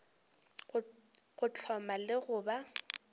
go hloma le go ba